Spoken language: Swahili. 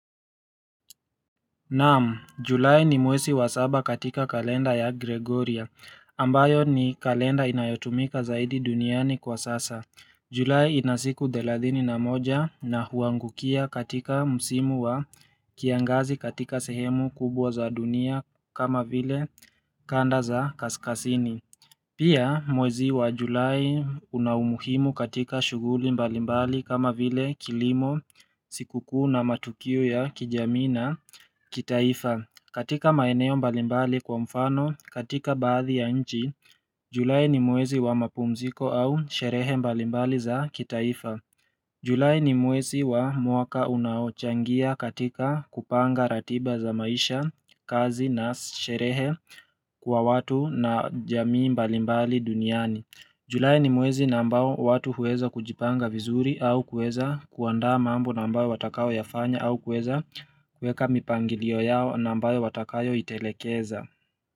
Naam, Julai ni mwezi wa saba katika kalenda ya Gregorian, ambayo ni kalenda inayotumika zaidi duniani kwa sasa. Julai ina siku thelathini na moja na huangukia katika msimu wa kiangazi katika sehemu kubwa za dunia kama vile kanda za kaskazini. Pia mwezi wa julai una umuhimu katika shughuli mbalimbali kama vile kilimo, sikukuu na matukio ya kijamii na kitaifa. Katika maeneo mbalimbali kwa mfano, katika baadhi ya nchi, julai ni mwezi wa mapumziko au sherehe mbalimbali za kitaifa. Julai ni mwezi wa mwaka unaochangia katika kupanga ratiba za maisha, kazi na sherehe kwa watu na jamii mbalimbali duniani. Julai ni mwezi na ambao watu huweza kujipanga vizuri au kueza kuanda mambo na ambao watakayoyafanya au kueza kueka mipangilio yao na ambayo watakayoitelekeza.